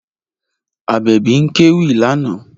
Abebi ń kéwì lánàá